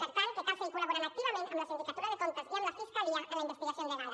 per tant cal seguir col·laborant activament amb la sindicatura de comptes i amb la fiscalia amb la investigació endegada